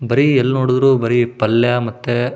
ಬರೀ ಎಲ್ ನೋಡಿದ್ರು ಬರಿ ಪಲ್ಯ ಮತ್ತೆ --